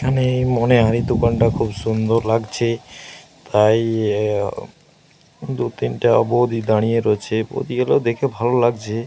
এখানে মনে হয় দোকানটা খুব সুন্দর লাগছে। তাই দু-তিনটা বৌদি দাঁড়িয়ে রয়েছে। বৌদিগুলো দেখে ভালো লাগছে।